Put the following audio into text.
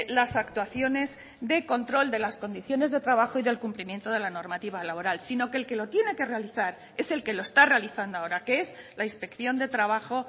las actuaciones de control de las condiciones de trabajo y del cumplimiento de la normativa laboral sino que el que lo tiene que realizar es el que lo está realizando ahora que es la inspección de trabajo